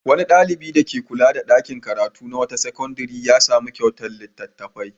Wani ɗalibi dake kula da ɗakin karatu na wata sakandare ya sami kyautar littattafai.